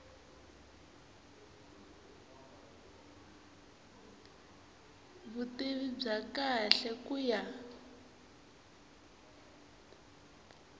vutivi bya kahle ku ya